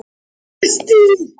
Hvað með þá sem ekki ná því?